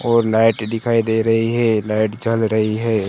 और लाइट दिखाई दे रहीं हैं लाइट जल रहीं हैं।